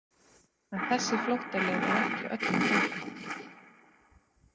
En þessi flóttaleið er ekki öllum opin.